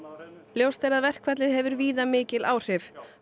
ljóst er að verkfallið hefur víða mikil áhrif